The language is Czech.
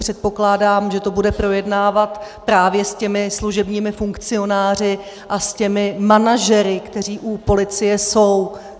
Předpokládám, že to bude projednávat právě s těmi služebními funkcionáři a s těmi manažery, kteří u policie jsou.